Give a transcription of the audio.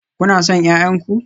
Kuna son 'ya'yan ku?